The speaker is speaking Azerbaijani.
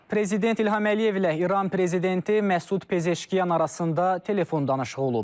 Prezident İlham Əliyevlə İran prezidenti Məsud Pezeşkiyan arasında telefon danışığı olub.